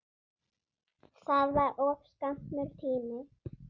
Það var of skammur tími.